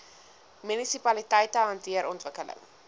munisipaliteite hanteer ontwikkeling